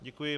Děkuji.